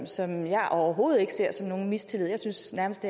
som jeg overhovedet ikke ser som nogen mistillid jeg synes nærmest